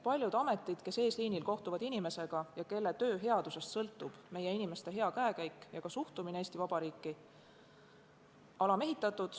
Paljud ametid, mille pidajad eesliinil inimestega kohtuvad ja mille headusest sõltub meie inimeste hea käekäik ja suhtumine Eesti Vabariiki, on alamehitatud.